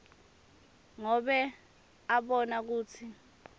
ngobe abona kutsi